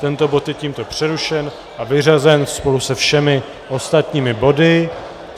Tento bod je tímto přerušen a vyřazen spolu se všemi ostatními body.